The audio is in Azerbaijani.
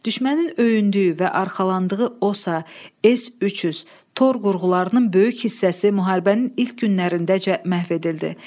Düşmənin öyündüyü və arxalandığı OSA, S-300, Tor qurğularının böyük hissəsi müharibənin ilk günlərindəcə məhv edildi.